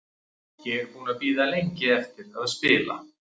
Ég er búinn að bíða lengi eftir að spila.